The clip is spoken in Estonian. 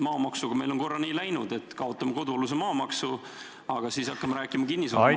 Maamaksuga on meil korra nii läinud, et kaotame kodualuse maa maksu, aga siis hakkame rääkima kinnisvaramaksust ...